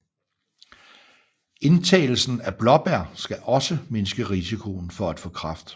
Indtagelsen af blåbær skal også mindske risikoen for at få kræft